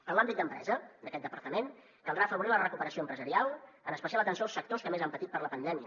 en l’àmbit d’empresa d’aquest departament caldrà afavorir la recuperació empresarial amb especial atenció als sectors que més han patit per la pandèmia